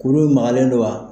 Kuru in magalen don wa?